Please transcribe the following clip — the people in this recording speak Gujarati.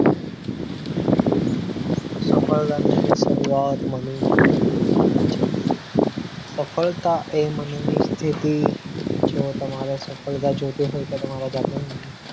સફળતાની શરૂઆત મળીને દિલમાં થાય છે સફળતા એ મનની સ્થિતિ જો તમારે સફળ તા જોઈતી હોય તો તમારે જાતે